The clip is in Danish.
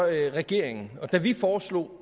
regeringen da vi foreslog